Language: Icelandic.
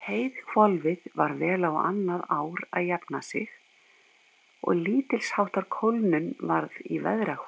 Heiðhvolfið var vel á annað ár að jafna sig og lítilsháttar kólnun varð í veðrahvolfinu.